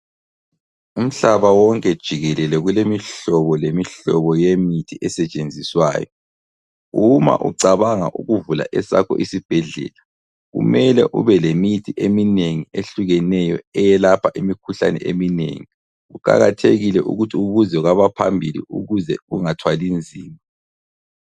Umhlaba wonke jikelele kulemihlobo lemihlobo yemithi esetshenziswayo. Uma ucabanga ukuvula esakho isibhedlela kumele ube lemithi eminengi ehlukeneyo eyelapha imikhuhlane eminengi, kuqakathekile ukuthi ubuze kwabaphambili ukuze ungathwalinzima.